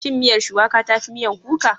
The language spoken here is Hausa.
Shin miyar Shuwaƙa ta fi miyan kuka?